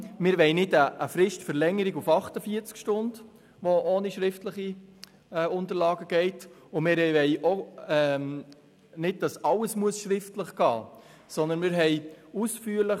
Wir wollen keine Fristverlängerung auf 48 Stunden ohne schriftliche Unterlagen, und wir wollen auch nicht, dass alles schriftlich geschehen muss.